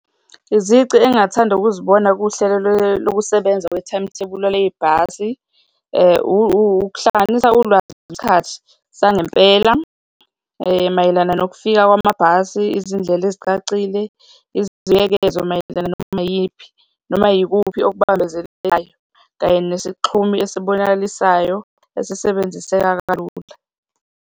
Izici engingathanda ukuzibona kuhlelo lokusebenza kwe-timetable-a lwebhasi, ukuhlanganisa ulwazi ngesikhathi sangempela mayelana nokufika kwamabhasi, izindlela ezicacile, izibuyekezo mayelana noma iyiphi, noma yikuphi okumbambezelelayo kanye nesixhumi esibonakalisayo esisebenziseka kalula.